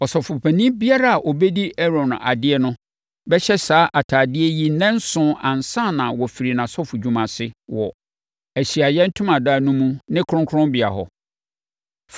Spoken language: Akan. Ɔsɔfopanin biara a ɔbɛdi Aaron adeɛ no bɛhyɛ saa ntadeɛ yi nnanson ansa na wafiri nʼasɔfodwuma ase wɔ Ahyiaeɛ Ntomadan no mu ne kronkronbea hɔ.